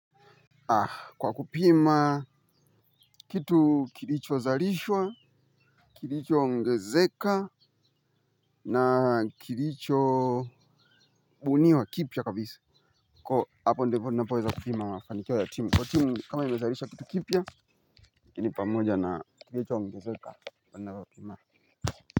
Kwa kupima kitu kilichozarishwa kilichoongezeka na kilichobuniwa kipya kabisa. Kwa hapo ndipo napoweza kupima mafanikio ya timu kwa timu kama imezalisha kitu kipya lakini pamoja na kilichoongezeka wana wapima.